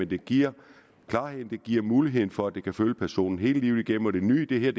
det giver klarheden det giver muligheden for at det kan følge personen hele livet igennem det nye i det